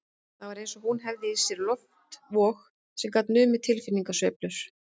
Það var eins og hún hefði í sér loftvog sem gat numið tilfinningasveiflur